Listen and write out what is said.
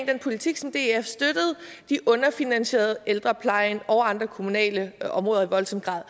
den politik som df støttede underfinansierede ældreplejen og andre kommunale områder i voldsom grad